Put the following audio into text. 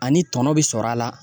Ani tɔnɔ bi sɔrɔ a la